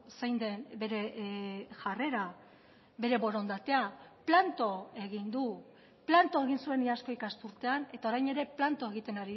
zein den bere jarrera bere borondatea planto egin du planto egin zuen iazko ikasturtean eta orain ere planto egiten